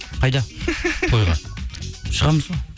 қайда тойға шығамыз ғой